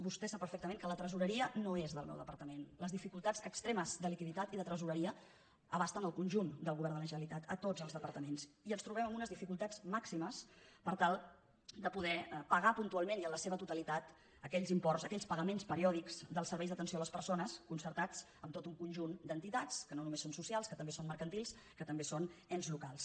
vostè sap perfectament que la tresoreria no és del meu departament les dificultats extremes de liqui·ditat i de tresoreria abasten el conjunt del govern de la generalitat a tots els departaments i ens trobem amb unes dificultats màximes per tal de poder pagar puntualment i en la seva totalitat aquells imports aquells pagaments periòdics dels serveis d’atenció a les persones concertats amb tot un conjunt d’enti·tats que no només són socials que també són mer·cantils que també són ens locals